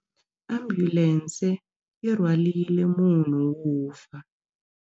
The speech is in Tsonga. Ambulense yi rhwarile munhu wo fa.